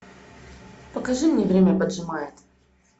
покажи мне время поджимает